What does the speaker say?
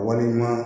Wale ɲuman